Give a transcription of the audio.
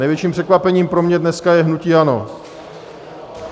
Největším překvapením pro mě dneska je hnutí ANO.